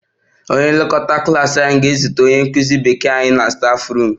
The klas prefect ga-ezute anyị English nkụzi na staffroom